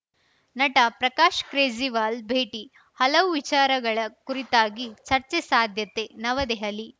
ನಟ ಪ್ರಕಾಶ್‌ಕ್ರೇಜಿವಾಲ್‌ ಭೇಟಿ ಹಲವು ವಿಚಾರಗಳ ಕುರಿತಾಗಿ ಚರ್ಚೆ ಸಾಧ್ಯತೆ ನವದೆಹಲಿ